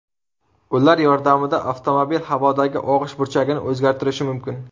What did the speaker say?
Ular yordamida avtomobil havodagi og‘ish burchagini o‘zgartirishi mumkin.